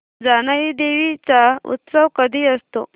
जानाई देवी चा उत्सव कधी असतो